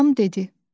Anam dedi: